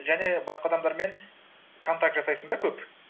және басқа адамдармен контакт жасайсың да көп